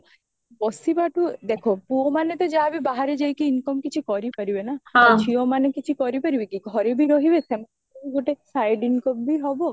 ବସିବାଠୁ ଦେଖା ପୁଅ ମାନେ ତ ଯାହାବି ବାହାରେ ଯାଇକି income କିଛି କରିପାରିବେ ନା ଆଉ ଝିଅ ମାନେ କିଛି କରିପାରିବେ କି ଘରେବି ରହିବେ ସେମାନଙ୍କରବି ଗୋଟେ side incomeବି ହବ